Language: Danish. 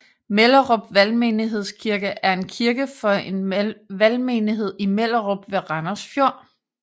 Mellerup Valgmenighedskirke er en kirke for en valgmenighed i Mellerup ved Randers Fjord